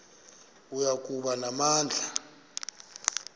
oya kuba namandla